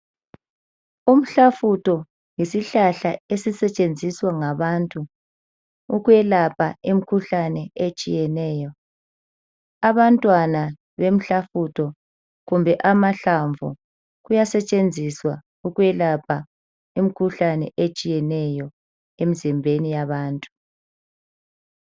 Umhlafutho yisihlahla esisetshenziswa ngabantu ukwelapha imkhuhlane etshiyeneyo. Abantwana bemhlafutho kumbe amahlamvu kuyasetshenziswa ukwelapha imkhuhlane etshiyeneyo emzimbeni yabantu.